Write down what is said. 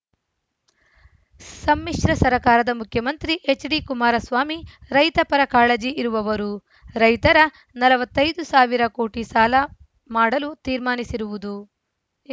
ಸಮ್ಮಿಶ್ರ ಸರ್ಕಾರದ ಮುಖ್ಯಮಂತ್ರಿ ಎಚ್‌ಡಿ ಕುಮಾರಸ್ವಾಮಿ ರೈತ ಪರ ಕಾಳಜಿ ಇರುವವರು ರೈತರ ನಲವತ್ತ್ ಐದ್ ಸಾವಿರ ಕೋಟಿ ಸಾಲ ಮಾಡಲು ತೀರ್ಮಾನಿಸಿರುವುದು